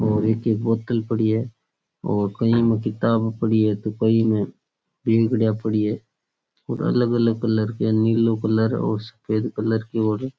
और एक एक बोतल पड़ी है और कईयां में किताब पड़ी है तो कई में और अलग अलग कलर की है नीलो कलर की और सफ़ेद कलर की --